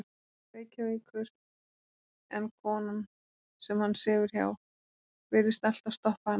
Reykjavíkur en konan, sem hann sefur hjá, virðist alltaf stoppa hann af.